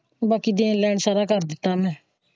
ਬਾਕੀ ਦੇਣ ਲੈਣ ਸਾਰਾ ਕਰ ਦਿੱਤਾ ਮੈਂ।